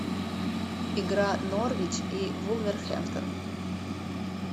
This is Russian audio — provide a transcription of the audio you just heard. игра норвич и вулверхэмптон